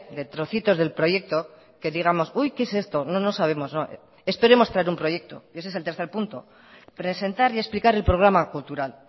de trocitos del proyecto que digamos qué es esto no no sabemos no esperemos traer un proyecto y ese es el tercer punto presentar y explicar el programa cultural